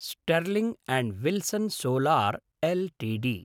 Sterling and Wilson solar Ltd